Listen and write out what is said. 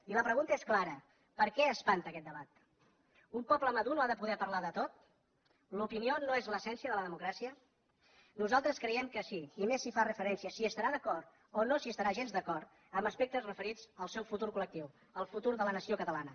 i la pregunta és clara per què espanta aquest debat un poble madur no ha de poder parlar de tot l’opinió no és l’essència de la democràcia nosaltres creiem que sí i més si fa referència s’hi estarà d’acord o no s’hi estarà gens d’acord a aspectes referits al seu futur col·lectiu al futur de la nació catalana